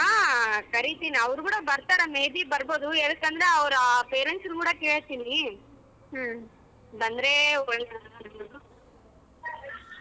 ಹ ಕರೀತಿನಿ ಅವರು ಕೂಡ ಬರ್ತಾರ may be ಬರಬೋದು ಯಾಕಂದರ ಅವರ parents ಕೂಡ ಕೇಳ್ತೀನಿ ಬಂದ್ರೆ.